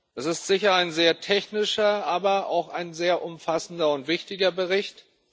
Das ist sicher ein sehr technischer, aber auch ein sehr umfassender und wichtiger Bericht.